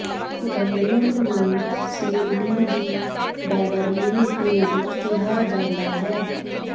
Gangnam ਨੂੰ ਸਿਓਲੀ ਦੀ ਬੈਵਰਲੀ ਹਿਲਜ਼ ਕਿਹਾ ਜਾਂਦਾ ਹੈ